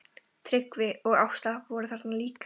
Tryggvi og Ásta voru þarna líka.